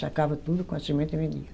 Sacava tudo com a semente e vendia.